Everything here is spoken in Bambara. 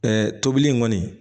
tobili in kɔni